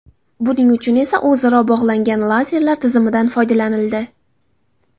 Buning uchun esa o‘zaro bog‘langan lazerlar tizimidan foydalanildi.